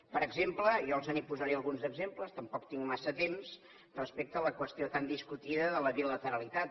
per exemple jo els posaré alguns exemples tampoc tinc massa temps respecte a la qüestió tan discutida de la bilateralitat